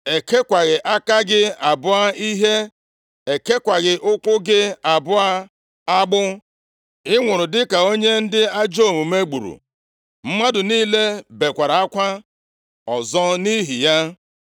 E kekwaghị aka gị abụọ ihe. E kekwaghị ụkwụ gị abụọ agbụ. Ị nwụrụ dịka onye ndị ajọ omume gburu.” Mmadụ niile bekwara akwa ọzọ nʼihi ya.